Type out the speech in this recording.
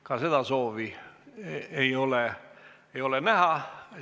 Ka seda ei soovi ei ole näha.